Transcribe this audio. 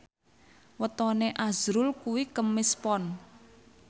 wetone azrul kuwi Kemis Pon